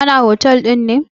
Kana. hotel ɗin ne?